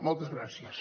moltes gràcies